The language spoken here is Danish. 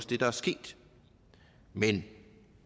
det der er sket men